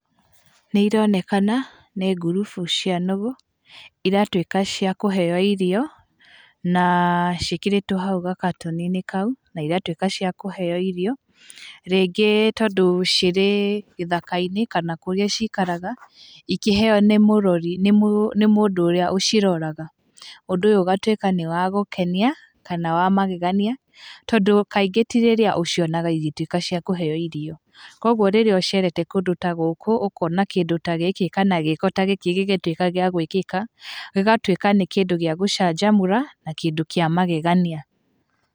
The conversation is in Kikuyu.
Nĩ ironekana, nĩ ngurubu cia nũgũ, iratuĩka cia kũheyo irio, na ciĩkĩrĩtwo hau gakatoni-inĩ kau, na igatuĩka cia kũheyo irio. Rĩngĩ tondũ cirĩ gĩthaka-inĩ kana kũrĩa ciikaraga, ikĩheyo nĩ mũrori, nĩ nĩ mũndũ ũrĩa ũciroraga. Ũndũ ũyũ ũgatuĩka nĩ wa gũkenia, kana wa magegania, tondũ kaingĩ ti rĩrĩa ũcionaga igĩtuĩka cia kũheyo irio. Koguo rĩrĩa ũcerete kũndũ ta gũkũ, ũkona kĩndũ ta gĩkĩ kana gĩĩko ta gĩkĩ gĩgĩtuĩka gĩa gwĩkĩka, gĩgatuĩka nĩ kĩndũ gĩa gũcanjamũra, na kĩndũ kĩa magegania.